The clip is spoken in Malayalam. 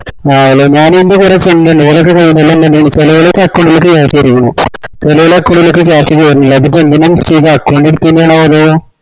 ആഹ് അത് ഞാനിപ്പോ ഇവരെ friend ഇൻഡെ ഓരെലോക്കെ ചേലോലെ account ലേക് cash വന്നക്കണ് ചേലോലെ account ലെക് cash വേര്ന്നില്ല അതിപ്പോ ന്തിന്നാ mistake ആ account എടുത്തെന്റെ ആണോ അതോ